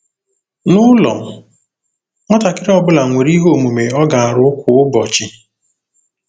N'ụlọ, nwatakịrị ọ bụla nwere ihe omume ọ ga-arụ kwa ụbọchị.